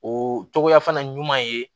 O cogoya fana ɲuman ye